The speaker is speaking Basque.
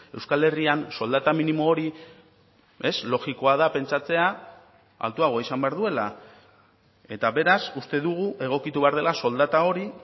euskal herrian soldata minimo hori ez logikoa da pentsatzea altuagoa izan behar duela eta beraz uste dugu egokitu behar dela soldata hori